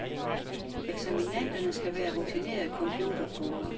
Eksaminanderne skal være rutinerede computerbrugere.